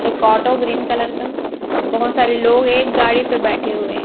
एक auto green colour का बहोत सारे लोग एक गाड़ी पे बैठे हुएं--